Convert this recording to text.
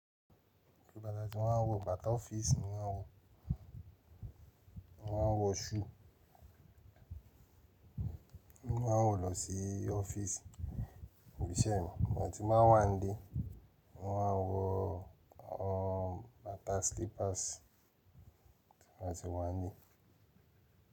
Bàtà tí n máa wọ bàtà ọ́fíìsì ni o, mo máa ń wọ shoe, mo má ń wọ̀ lọ sí ọ́fíìsì, ibiṣẹ́ mi. Tí n bá wà nlé wọ́n á wọ ọ bàtà slippers tí n bátì wà ń lé.